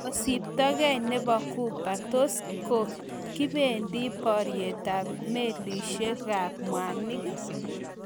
Ngusetabgei nebo Ghuba:Tos kibendi boryetab melisiekab mwanik?